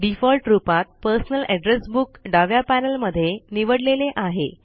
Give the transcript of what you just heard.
default रुपात personal address book डाव्या panel मध्ये निवडलेले आहे